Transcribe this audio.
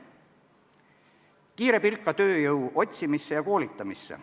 Kiire pilk ka tööjõu otsimisse ja koolitamisse.